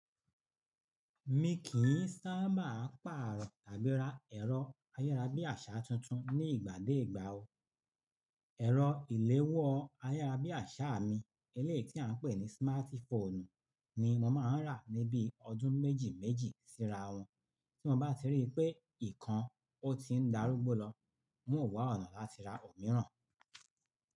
Mi kì í sábà pàrọ̀ tàbí ra ẹ̀rọ ayárabíàṣá tuntun ní ìgbà dé ìgbà o. Ẹ̀rọ ìléwọ́ ayárabíàṣá mi, eléyìí tí à ń pè ní smart phone ni mo máa ń rà ní bíi ọdún méjì méjì síra wọn. Tí mo bá ti ríi pé ìkan ọ ti ń darúgbó lọ, mo wà ó àná láti ra òmíràn.